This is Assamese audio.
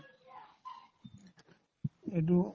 এইটোও